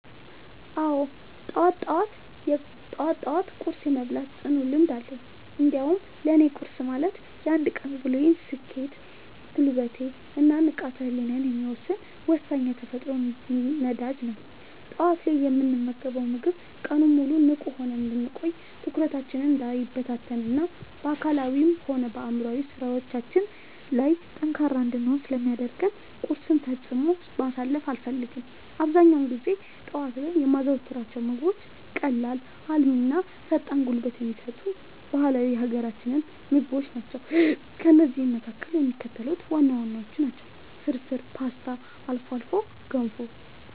አዎ፣ ጠዋት ጠዋት ቁርስ የመብላት ጽኑ ልምድ አለኝ። እንዲያውም ለእኔ ቁርስ ማለት የአንድ ቀን ውሎዬን ስኬት፣ ጉልበት እና ንቃተ ህሊናዬን የሚወሰን ወሳኝ የተፈጥሮ ነዳጅ ነው። ጠዋት ላይ የምንመገበው ምግብ ቀኑን ሙሉ ንቁ ሆነን እንድንቆይ፣ ትኩረታችን እንዳይበታተን እና በአካላዊም ሆነ በአእምሯዊ ስራዎቻችን ላይ ጠንካራ እንድንሆን ስለሚያደርገን ቁርስን ፈጽሞ ማሳለፍ አልፈልግም። አብዛኛውን ጊዜ ጠዋት ላይ የማዘወትራቸው ምግቦች ቀላል፣ አልሚ እና ፈጣን ጉልበት የሚሰጡ ባህላዊ የሀገራችንን ምግቦች ናቸው። ከእነዚህም መካከል የሚከተሉት ዋና ዋናዎቹ ናቸው፦ ፍርፍር: ፖስታ: አልፎ አልፎ ገንፎ